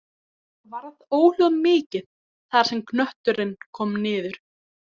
Varð óhljóð mikið þar sem knötturinn kom niður.